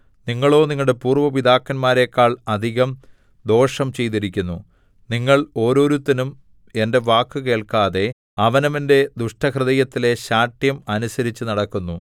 നിങ്ങളോ നിങ്ങളുടെ പൂര്‍വ്വ പിതാക്കന്മാരെക്കാൾ അധികം ദോഷം ചെയ്തിരിക്കുന്നു നിങ്ങൾ ഓരോരുത്തനും എന്റെ വാക്കു കേൾക്കാതെ അവനവന്റെ ദുഷ്ടഹൃദയത്തിലെ ശാഠ്യം അനുസരിച്ചുനടക്കുന്നു